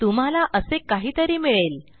तुम्हाला असे काहीतरी मिळेल